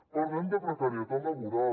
parlem de precarietat laboral